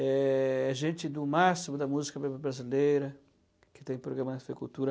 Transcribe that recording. É gente do máximo da música brasileira, que tem programa na tê vê Cultura.